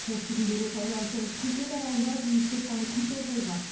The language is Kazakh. осы күндері таиландтың пхукет аралында туристер саны күрт азайған